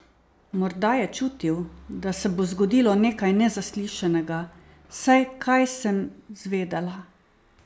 Morda je čutil, da se bo zgodilo nekaj nezaslišanega, saj kaj sem zvedela!